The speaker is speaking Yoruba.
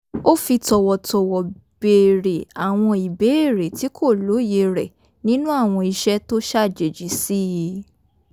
ó fi tọ̀wọ̀tọ̀wọ̀ béèrè àwọn ìbéèrè tí kò lóye rẹ̀ nínú àwọn ìṣe tó ṣàjèjì sí i